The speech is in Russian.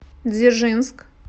дзержинск